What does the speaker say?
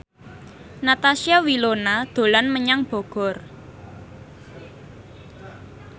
Natasha Wilona dolan menyang Bogor